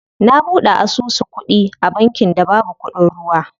Na buɗe asusu kuɗi a bankin da babu kuɗin ruwa.